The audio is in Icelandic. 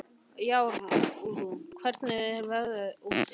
Jarún, hvernig er veðrið úti?